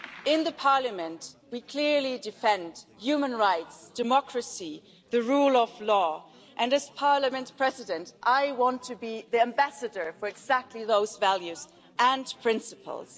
In Parliament we clearly defend human rights, democracy, the rule of law, and as Parliament President I want to be the ambassador for exactly those values and principles.